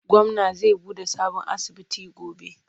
Gwamna za buɗe sabon asibiti gobe.